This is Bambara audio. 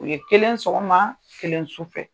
U ye kelen sɔgɔma, kelen su fɛ.